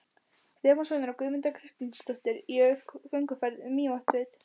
Stefánssonar, og Guðmunda Kristinsdóttir í gönguferð um Mývatnssveit.